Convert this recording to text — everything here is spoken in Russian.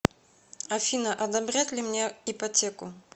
афина одобрять ли мне ипотеку